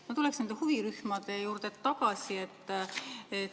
Ma tuleks huvirühmade juurde tagasi.